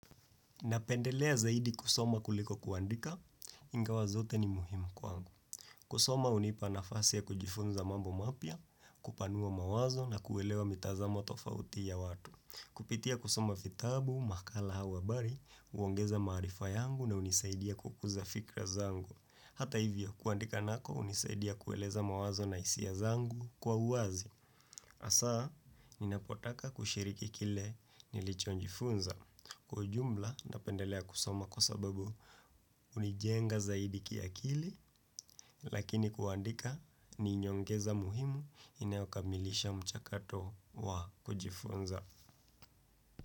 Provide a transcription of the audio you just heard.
Napendelea zaidi kusoma kuliko kuandika, ingawa zote ni muhimu kwa angu. Kusoma hunipa nafasi ya kujifunza mambo mapya, kupanua mawazo na kuelewa mitazamo tofauti ya watu. Kupitia kusoma vitabu, makala au habari, huongeza maarifa yangu na hunisaidia kukuza fikira zangu. Hata hivyo, kuandika nako unisaidia kueleza mawazo na hisia zangu kwa uazi. Asa, ninapotaka kushiriki kile nilicho njifunza. Kwa ujumla nitapendelea kusoma kwa sababu hunijenga zaidi kiakili lakini kuandika ninyongeza muhimu inaokamilisha mchakato wa kujifunza.